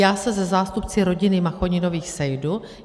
Já se se zástupci rodiny Machoninových sejdu.